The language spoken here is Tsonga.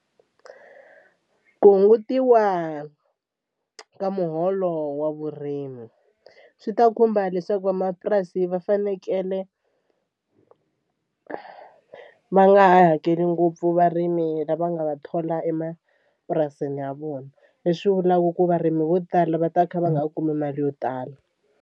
Ku hungutiwa ka muholo wa vurimi swi ta khumba leswaku vamapurasi va fanekele va nga ha hakeli ngopfu varimi lava nga va thola emapurasini ya vona leswi vulaka ku varimi vo tala va ta va kha va nga kumi mali yo tala.